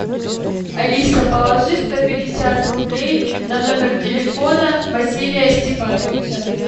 алиса положи сто пятьдесят рублей на номер телефона василия степановича